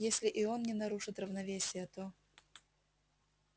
если и он не нарушит равновесия то